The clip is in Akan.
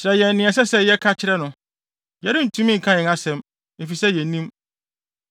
“Kyerɛ yɛn nea ɛsɛ sɛ yɛka kyerɛ no; yɛrentumi nka yɛn asɛm, efisɛ yennim.